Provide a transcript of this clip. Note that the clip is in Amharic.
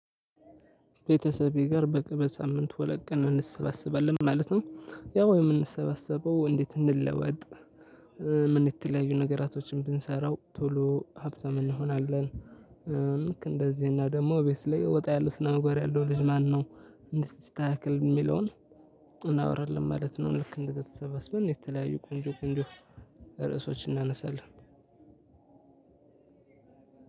ቤተሰቤ ጋር በቅርብ ሳምንት ሁለት ቀን እንሰባሰባለን ማለት ነው ያው የምንሰባሰበው እንዴት እንለወጥ? ምን የተለያዩ ነገራቶችን ብንሰራው ቶሎ ሀብታም እንሆናለን። ልክ እንደዚህና ደግሞ ቤት ላይ ወጣ ያለ ስነምግባር ያለው ልጅ ማነው? እንዴት ይስተካከል የሚለውን እናወራለን ማለት ነው። ልክ እንደዛ ተሰባስበን የተለያዩ ቆንጆ ቆንጆ ርዕሶችን እናነሳለን።